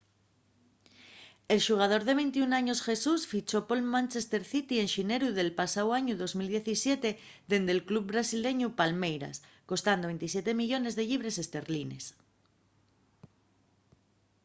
el xugador de 21 años jesus fichó pol manchester city en xineru del pasáu añu 2017 dende’l club brasileñu palmeiras costando 27 millones de llibres esterlines